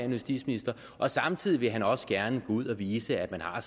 justitsministre og samtidig vil han også gerne ud og vise at man har